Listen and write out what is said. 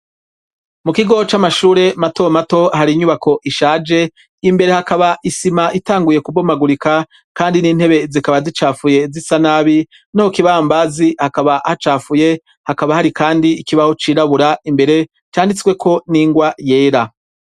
mukigoo c'amashure mato mato hari inyubako ishaje imbere hakaba isima itanguye kubomagurika kandi n'intebe zikaba zicafuye zisanabi no kukibambazi hakaba hacafuye hakaba hari kandi ikibaho cirabura imbere canditswe ko n'ingwa yera